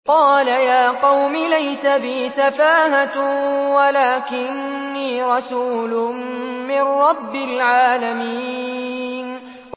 قَالَ يَا قَوْمِ لَيْسَ بِي سَفَاهَةٌ وَلَٰكِنِّي رَسُولٌ مِّن رَّبِّ الْعَالَمِينَ